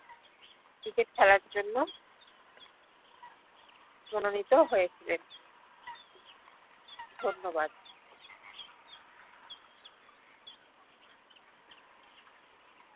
cricket খেলার জ্ন্য় মননিত হয়েছিলেন ধন্য়বাদ